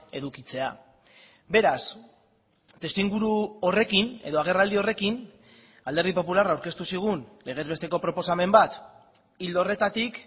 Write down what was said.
edukitzea beraz testuinguru horrekin edo agerraldi horrekin alderdi popularra aurkeztu zigun legez besteko proposamen bat ildo horretatik